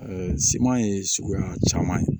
siman ye suguya caman ye